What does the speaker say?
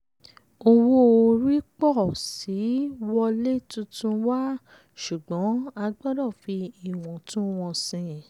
owó orí pọ̀ síi wọlé tuntun wá ṣùgbọ́n a gbọ́dọ̀ fi ìwọ̀ntúnwọ̀nsìn.